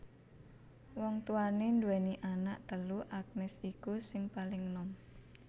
Wong tuwané nduwèni anak telu Agnes iku sing paling nom